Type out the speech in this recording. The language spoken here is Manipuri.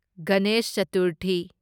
ꯒꯅꯦꯁ ꯆꯇꯨꯔꯊꯤ